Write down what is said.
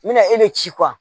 N mɛna e de ci kuwa